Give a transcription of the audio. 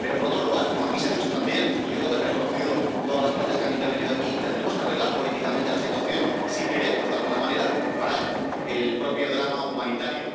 pero, por otro lado, como aquí se ha dicho también —y yo creo que han reconocido todas las partes que han intervenido aquí—, tendremos que arreglar políticamente la situación si queremos de alguna manera parar el propio drama humanitario.